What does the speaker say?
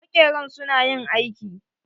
Maƙeran su na yin aiki.